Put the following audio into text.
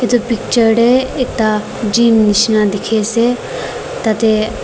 etu picture teh ekta Gym nishna dekhi ase tateh--